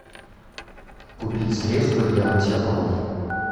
купить средство для мытья полов